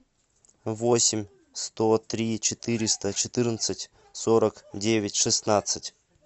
восемь сто три четыреста четырнадцать сорок девять шестнадцать